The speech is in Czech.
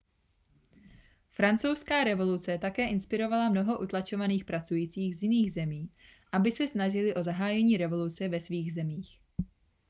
francouzská revoluce také inspirovala mnoho utlačovaných pracujících z jiných zemí aby se snažili o zahájení revoluce ve svých zemích